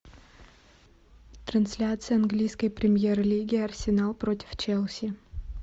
трансляция английской премьер лиги арсенал против челси